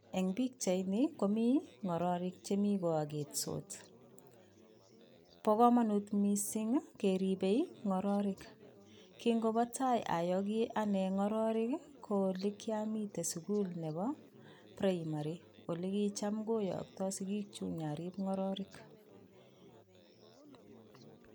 Eng pichait ni komi ngororik chemi koaketsot bo komonut missing keribei ngororik kingobo tai ayoki ane ngororik ko olekiamite sukul nebo primary ole kocham koyokto sikiik chu nyarip ngororik.